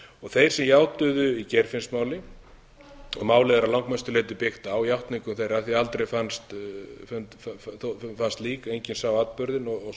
þeir sem játuðu í geirfinnsmáli og málið er að langmestu byggt á játningum þeirra af því aldrei fannst lík enginn sá atburðinn og